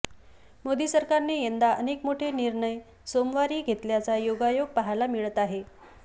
मोदी सरकारने यंदा अनेक मोठे निर्णय सोमवारी घेतल्याचा योगायोग पाहायला मिळत आहे